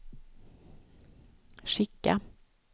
skicka